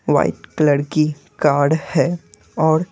white colour की car है और--